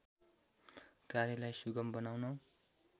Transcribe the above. कार्यलाई सुगम बनाउन